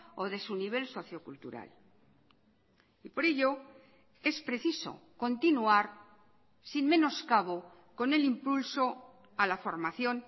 o de su nivel socio cultural y por ello es preciso continuar sin menoscabo con el impulso a la formación